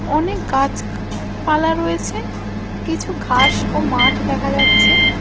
অনেক গাছক পালা রয়েছে কিছু ঘাস ও মাঠ দেখা যাচ্ছে।